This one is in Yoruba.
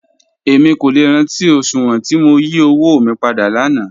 Èmi kò lẹ́ rántí oṣùwọn tí mó yí ọ̀wọ̀ mí pádà láńà